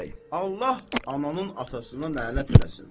Allah ananın atasına lənət eləsin.